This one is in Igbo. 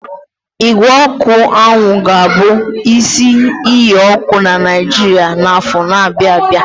Ígwè ọkụ anwụ ga-abụ isi iyi ọkụ na Naijiria n'afọ na-abịa abịa.